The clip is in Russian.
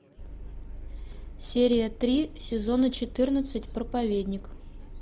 серия три сезона четырнадцать проповедник